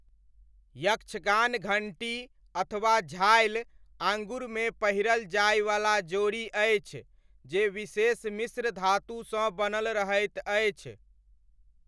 यक्षगान घण्टी अथवा झालि आङुरमे पहिरल जाइवला जोड़ी अछि जे विशेष मिश्र धातुसँ बनल रहैत अछि।